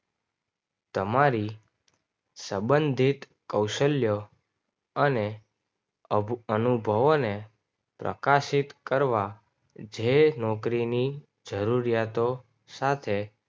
તમારી સંબંધિત કૌશલ્યા અને અનુભવોને પ્રકાશિત કરવા જે નોકરીની જરૂરિયાતો સાથે